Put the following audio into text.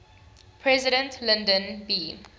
president lyndon b